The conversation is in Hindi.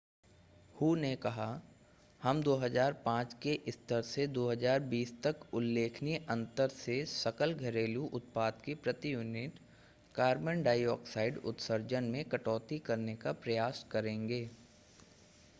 हू ने कहा हम 2005 के स्तर से 2020 तक उल्लेखनीय अंतर से सकल घरेलू उत्पाद की प्रति यूनिट कार्बन डाइऑक्साइड उत्सर्जन में कटौती करने का प्रयास करेंगे